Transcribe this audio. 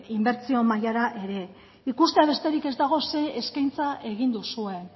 inbertsio mailara ere ikustea besterik ez dago zer eskaintza egin duzuen